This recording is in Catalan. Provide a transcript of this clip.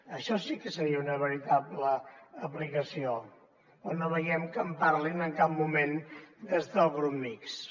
això sí que seria una veritable aplicació però no veiem que en parlin en cap moment des del grup mixt